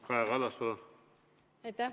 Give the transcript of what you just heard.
Kaja Kallas, palun!